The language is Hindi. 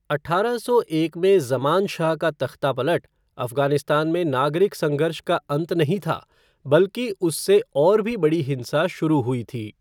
अठारह सौ एक में ज़मान शाह का तख्तापलट, अफ़गानिस्तान में नागरिक संघर्ष का अंत नहीं था बल्कि उससे और भी बड़ी हिंसा शुरू हुई थी।